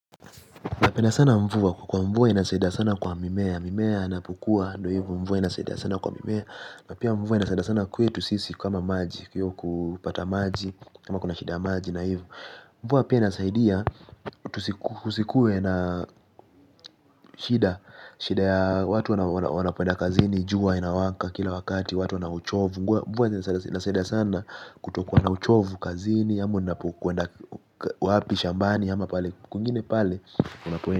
Napenda sana mvua kwa mvua inasaida sana kwa mimea. Mimea anapukua ndo hivo mvua inasaida sana kwa mimea. Na pia mvua inasaida sana kwetu sisi kama maji. Hiyo kupata maji kama kuna shida maji na hivo. Mvua pia inasaidia kusikue na shida. Shida ya watu wanapoenda kazini jua inawaka kila wakati. Watu wana uchovu mvua inasaida sana kutokuwa na uchovu kazini. Ama unapokwenda wapi, shambani, kwengine pale unapoenda.